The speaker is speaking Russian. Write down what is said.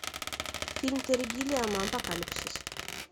фильм терри гиллиама апокалипсис